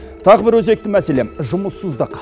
тағы бір өзекті мәселе жұмыссыздық